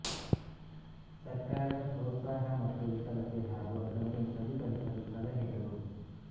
ಸರ್ಕಾರದ ಪ್ರೊತ್ಸಾಹ ಮತ್ತು ವಿಫಲತೆ ಹಾಗೂ ಅದನ್ನು ಸರಿಪಡಿಸಲು ಸಲಹೆಗಳು